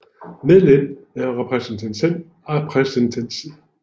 Medlem af repræsentantskabet for Dansk Erhverv